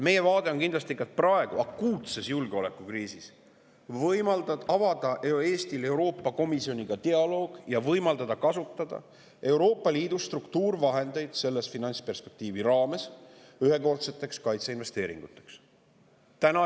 Meie vaade on praegu akuutses julgeolekukriisis kindlasti see, et Eestil avada Euroopa Komisjoniga dialoog, et võimaldataks kasutada Euroopa Liidu struktuurivahendeid selle finantsperspektiivi raames ühekordseteks kaitseinvesteeringuteks.